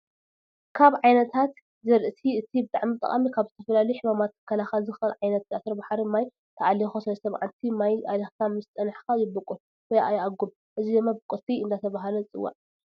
ካብ ዓይነታት ዝርእቲ እቲ ብጣዕሚ ጠቃሚ ካብ ዝተፈላለዩ ሕማማት ክከላከል ዝክእል ዓተረባሕሪ ማይ ተኣሊኩ ሰለስተ ማዓልተ ማይ ኣሊክካ ምስ ፀነሕካ ይበቁል ወይ ይኣጉም፣ እዚ ድማ ብቁልቲ እዳተባሀለ ዝፅዋዕ ምግቢ እዩ።